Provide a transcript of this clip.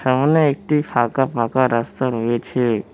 সামনে একটি ফাঁকা ফাঁকা রাস্তা রয়েছে।